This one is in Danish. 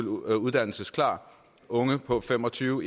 uddannelsesklare unge på fem og tyve